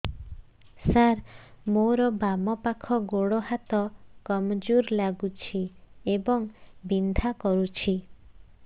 ସାର ମୋର ବାମ ପାଖ ଗୋଡ ହାତ କମଜୁର ଲାଗୁଛି ଏବଂ ବିନ୍ଧା କରୁଛି